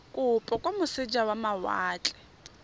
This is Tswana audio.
kopo kwa moseja wa mawatle